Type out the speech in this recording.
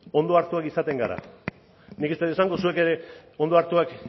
ondo hartuan izaten gara nik ez det esango zuek ere ondo hartuak